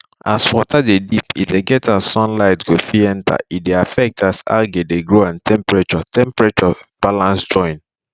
as water de deep e de get as sunlight go fit enter e de affect as algae de grow and temperarture temperarture balance join